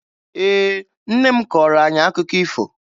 Ee, nne m kọọrọ anyị akụkọ ifo